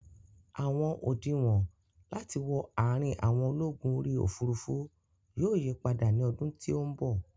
Àwọn òdinwọ̀n láti wọ àrin àwọn ológun orí òfurufú yóò yípadà ní ọdún tí ó bọ̀